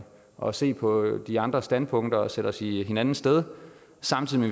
og se på de andres standpunkter og sætte os i hinandens sted samtidig